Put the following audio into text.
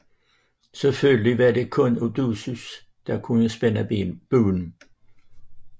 Selvfølgelig var det kun Odysseus der kunne spænde buen